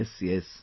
Yes, yes